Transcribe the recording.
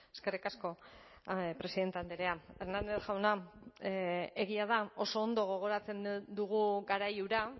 eskerrik asko presidente andrea hernández jauna egia da oso ondo gogoratzen dugu garai hura